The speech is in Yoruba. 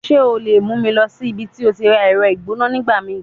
Ṣe o le mu mi lọ si ibiti o ti ra ẹrọ igbona nigbamii?